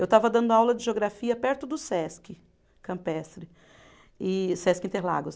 Eu estava dando aula de geografia perto do Sesc Campestre, e Sesc Interlagos.